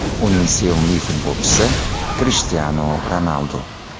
Uning sevimli futbolchisi Krishtianu Ronaldu.